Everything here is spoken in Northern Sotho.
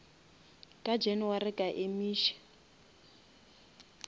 ka january a ka emiša